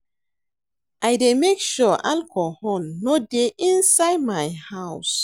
I dey make sure alcohol no dey inside my house